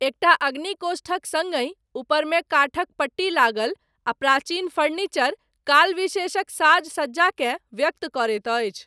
एकटा अग्निकोष्ठक सङ्गहि, ऊपरमे काठक पट्टी लागल, आ प्राचीन फर्नीचर, काल विशेषक साज सज्जाकेँ व्यक्त करैत अछि।